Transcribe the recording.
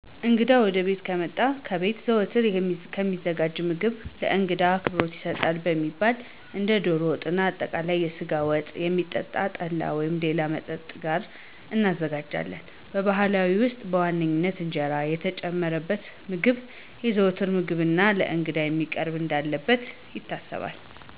እንግዳ ወደቤት ከመጣ ከቤት ዘወትር ከሚዘጋጀው ምግብ ለእንግዳ አክብሮት ይገልጣል የሚባለውን እንደ ዶሮ ወጥና አጠቃለይ የስጋ ወጥ፣ ከሚጠጣ ጠላ ወይም ሌላ መጠጥ ጋር እናዘጋጃለን። በባህላችን ውስጥ በዋናነት እንጀራ የተጨመረበት ምግብ የዘዎትር ምግብና ለእንግዳም መቅረብ እንዳለበት ይታሰባል።